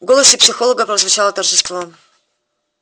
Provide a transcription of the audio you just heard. в голосе психолога прозвучало торжество